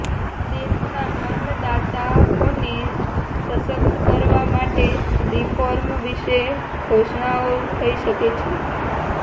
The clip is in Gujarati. દેશના અન્નદાતાઓને સશક્ત કરવા માટે રિફોર્મ વિશે ઘોષણાઓ થઈ શકે છે